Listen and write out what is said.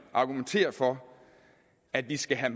argumentere for at vi skal have